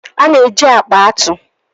A na-eji akpa atụ.